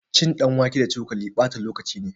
Cin ɗanwake da cokali ɓata lokaci ne